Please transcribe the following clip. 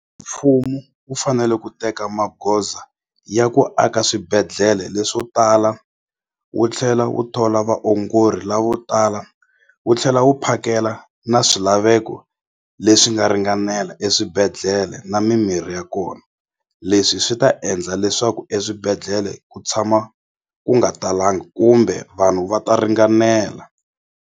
Mfumo wu fanele ku teka magoza ya ku aka swibedhlele leswo tala wu tlhela wu thola vaongori lavotala wu tlhela wu phakela na swilaveko leswi nga ringanela eswibedhlele na mimirhi ya kona leswi swi ta endla leswaku eswibedhlele ku tshama ku nga talanga kumbe vanhu va ta ringanela.